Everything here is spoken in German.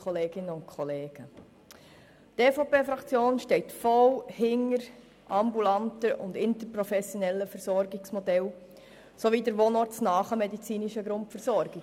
Die EVP-Fraktion steht voll hinter ambulanten und interprofessionellen Versorgungsmodellen sowie der wohnortnahen medizinischen Grundversorgung.